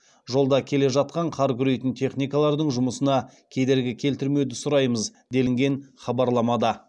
жолда келе жатқан қар күрейтін техникалардың жұмысына кедергі келтірмеуді сұраймыз делінген хабарламада